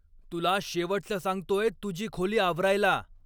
तुला शेवटचं सांगतोय तुझी खोली आवरायला.